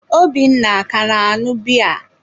Obinna a ka na-añụ biya?